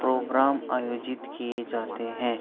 Programme आयोजित किये जाते है।